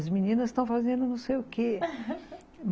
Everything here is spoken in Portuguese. As meninas estão fazendo não sei o quê